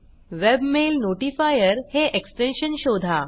webmail notifier हे extension शोधा